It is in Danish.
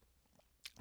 TV 2